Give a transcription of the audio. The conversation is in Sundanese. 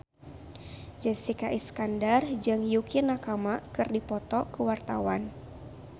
Jessica Iskandar jeung Yukie Nakama keur dipoto ku wartawan